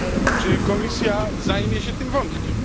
Czy Komisja zajmie się tym wątkiem?